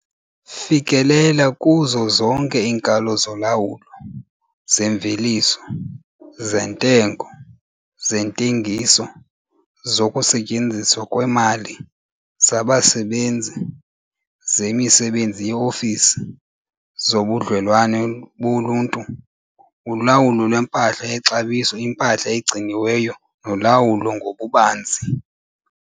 Fikelela kuzo zonke iinkalo zolawulo, zemveliso, zentengo, zentengiso, zokusetyenziswa kwemali, zabasebenzi, zemisebenzi yeofisi, zobudlelwane boluntu, ulawulo lwempahla yexabiso impahla egciniweyo nolawulo ngokubanzi.